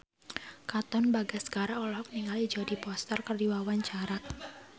Katon Bagaskara olohok ningali Jodie Foster keur diwawancara